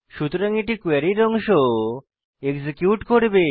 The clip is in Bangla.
সুতরাং কোয়েরীর এই অংশ এক্সিকিউট করবে